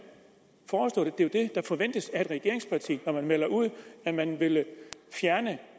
der forventes af et regeringsparti når man melder ud at man vil fjerne